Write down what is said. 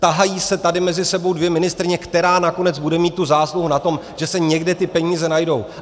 Tahají se tady mezi sebou dvě ministryně, která nakonec bude mít tu zásluhu na tom, že se někde ty peníze najdou.